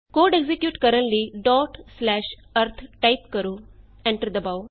code execute ਕਰਨ ਲਈ arith type ਕਰੋ ਐਂਟਰ ਦਬਾਉ